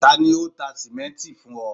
tani o ta simenti fun ọ?